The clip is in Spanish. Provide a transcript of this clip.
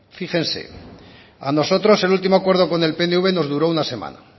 fíjense a nosotros el último acuerdo con el pnv nos duró una semana